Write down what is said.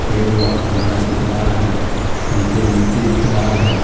पेड़ बहुत बड़ा दिख रहा है नीचे मिट्टी दिख रहा है।